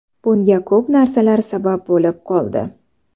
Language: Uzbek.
Bunga ko‘p narsalar sabab bo‘lib qoldi.